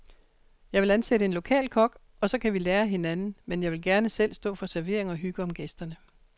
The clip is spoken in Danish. Jeg vil ansætte en lokal kok, og så kan vi lære af hinanden, men jeg vil gerne selv stå for servering og hygge om gæsterne.